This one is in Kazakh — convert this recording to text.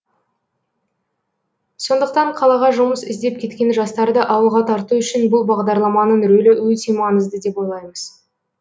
сондықтан қалаға жұмыс іздеп кеткен жастарды ауылға тарту үшін бұл бағдарламаның рөлі өте маңызды деп ойлаймыз